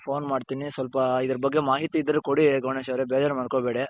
phone ಮಾಡ್ತೀನಿ ಸ್ವಲ್ಪ ಅದರ ಬಗ್ಗೆ ಮಾಹಿತಿ ಇದ್ರೆ ಕೊಡಿ ಗಣೇಶ್ ಅವರೇ ಬೇಜಾರ್ ಮಾಡ್ಕೋಬೇಡಿ.